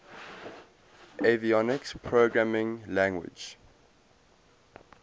avionics programming language